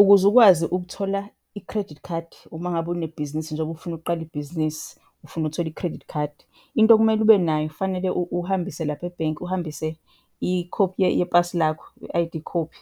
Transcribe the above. Ukuze ukwazi ukuthola i-credit card uma ngabe unebhizinisi njengoba ufuna ukuqala ibhizinisi, ufuna ukuthola i-credit card, into okumele ube nayo, fanele uhambise lapha ebhenki, uhambise ikhophi yepasi lakho, i-I_D khophi.